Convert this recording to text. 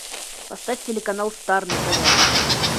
поставь телеканал стар на тв